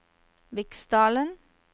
Viksdalen